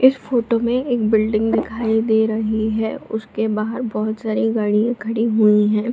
इस फोटो में एक बिल्डिंग दिखाई दे रही है उसके बाहर बहोत सारे गाड़ियां खड़ी हुवी हैं।